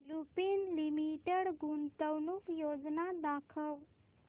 Lupin limited गुंतवणूक योजना दाखव